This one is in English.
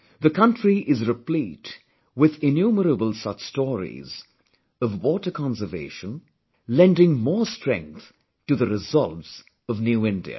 The country is replete with innumerable such stories, of water conservation, lending more strength to the resolves of New India